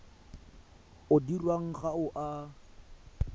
o dirwang ga o a